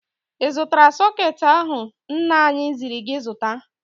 Ị zụtara sọkeetị ahụ nna anyị ziri gị zụta?